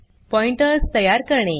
pointers तयार करणे